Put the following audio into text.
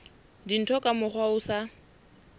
dintho ka mokgwa o sa